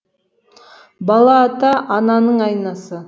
бала ата ананың айнасы